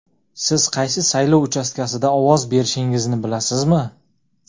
Siz qaysi saylov uchastkasida ovoz berishingizni bilasizmi?.